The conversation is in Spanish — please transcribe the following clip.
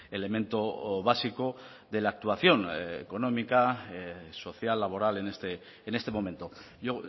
elemento básico de la actuación económica social laboral en este momento yo